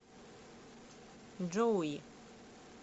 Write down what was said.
джоуи